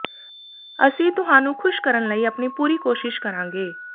ਅਸੀਂ ਤੁਹਾਨੂੰ ਖੁਸ਼ ਕਰਨ ਲਈ ਆਪਣੀ ਪੂਰੀ ਕੋਸ਼ਿਸ਼ ਕਰਾਂਗੇ